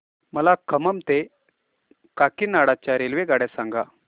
मला खम्मम ते काकीनाडा च्या रेल्वेगाड्या सांगा